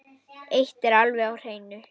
Eitt er alveg á hreinu.